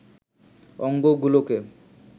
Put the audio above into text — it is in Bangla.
অঙ্গ গুলোকে